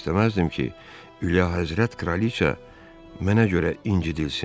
İstəməzdim ki, Ülyahəzrət kraliça mənə görə incitilsin.